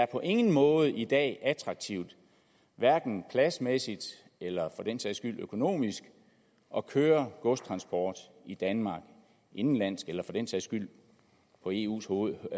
på ingen måde i dag er attraktivt hverken pladsmæssigt eller økonomisk at køre godstransport i danmark indenlands eller for den sags skyld på eus hovednet